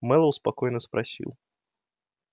мэллоу спокойно спросил